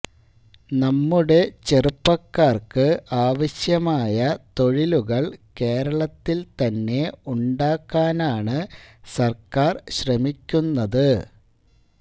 നമ്മുടെ ചെറുപ്പക്കാർക്ക് ആവശ്യമായ തൊഴിലുകൾ കേരളത്തിൽ തന്നെ ഉണ്ടാക്കാനാണ് സർക്കാർ ശ്രമിക്കുന്നത്